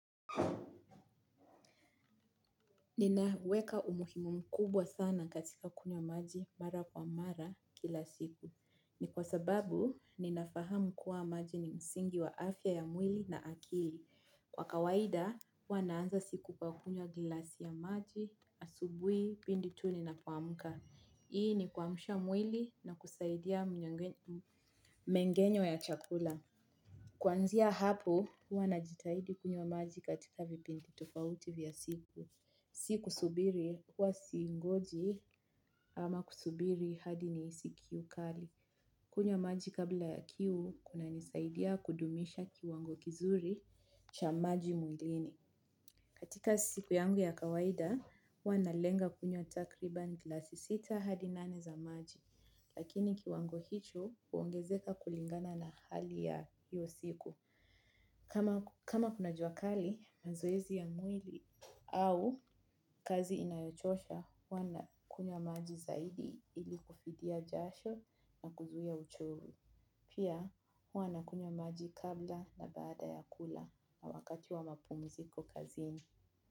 Ninaweka umuhimu mkubwa sana katika kunywa maji mara kwa mara kila siku. Ni kwa sababu, ninafahamu kuwa maji ni msingi wa afya ya mwili na akili. Kwa kawaida, huwa naanza siku kwa kunywa gilasi ya maji, asubuhi, pindi tu ninapomka. Hii ni kuamsha mwili na kusaidia mengenyo ya chakula. Kwanzia hapo, huwa najitahidi kunywa maji katika vipindi tofauti vya siku. Sikusubiri kuwa singoji ama kusubiri hadi nihisi kiu kali. Kunywa maji kabla ya kiu kuna nisaidia kudumisha kiwango kizuri cha maji mwilini. Katika siku yangu ya kawaida huwa nalenga kunya takriban glasi sita hadi nane za maji lakini kiwango hicho huongezeka kulingana na hali ya hio siku. Kama kuna jua kali mazoezi ya mwili au kazi inayochosha, huwa nakunywa maji zaidi ili kufidia jasho na kuzuia uchovu. Pia, huwa nakunywa maji kabla na baada ya kula na wakati wa mapumuziko kazini.